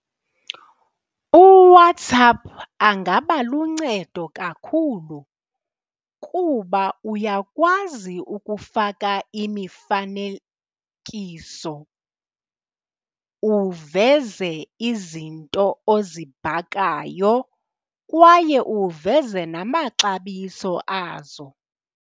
UWhatsapp angaba luncedo kakhulu kuba uyakwazi ukufaka imifanekiso uveze izinto ozibhakayo kwaye uveze namaxabiso azo.